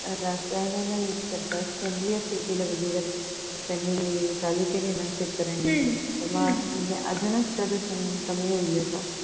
रसायनं use करतात सगळ्या शेतीला म्हणजे जर त्यांनी चालू केले न शेतकऱ्यांनी म्हणजे अजूनच प्रदूषण कमी होईल असं